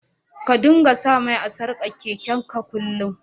Ka dinga sa mai a'sarkan keken ka kullum.